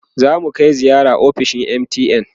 zamu Kai ziyara ofishin MTN